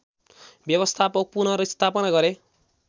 व्यवस्थाको पुनर्स्थापना गरे